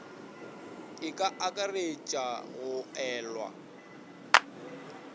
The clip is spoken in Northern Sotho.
e ka akaretša go elwa